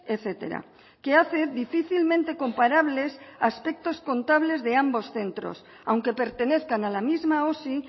etcétera que hace difícilmente comparables aspectos contables de ambos centros aunque pertenezcan a la misma osi